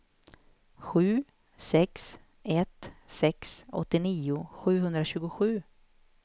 sju sex ett sex åttionio sjuhundratjugosju